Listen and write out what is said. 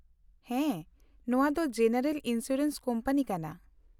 -ᱦᱮᱸ ᱱᱚᱣᱟ ᱫᱚ ᱡᱮᱱᱟᱨᱮᱞ ᱤᱱᱥᱩᱨᱮᱱᱥ ᱠᱳᱢᱯᱟᱱᱤ ᱠᱟᱱᱟ ᱾